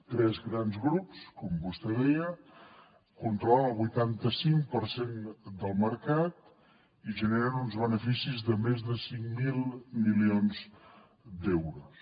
tres grans grups com vostè deia controlen el vuitanta cinc per cent del mercat i generen uns beneficis de més de cinc mil milions d’euros